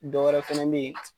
Dɔwɛrɛ fɛnɛ be yen